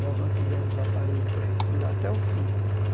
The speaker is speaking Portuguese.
Nós mantivemos o aparelho para respirar até o fim.